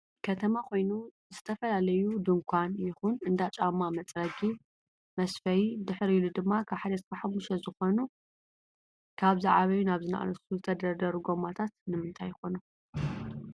ከተማ ኮይኑ ዝተፈላለዩ ዲንኳን ይኩን እንዳ ጫማ መፅረጊ መስፈይ ድሕር ኢሉ ድማ 1-5 ዝኮኑ ካብ ዝዓበዩ ናብ ዝናኣሱ ዝተደርደሩ ጎማታት ንምንታይ ይኮኑ?